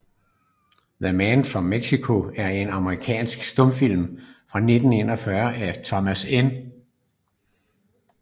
The Man from Mexico er en amerikansk stumfilm fra 1914 af Thomas N